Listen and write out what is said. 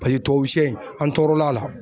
Paye tubabusɛ in an tɔɔrɔla la.